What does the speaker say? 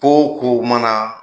Ko o ko ma na